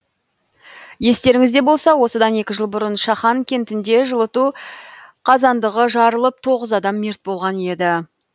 естеріңізде болса осыдан екі жыл бұрын шахан кентінде жылыту қазандығы жарылып тоғыз адам мерт болған еді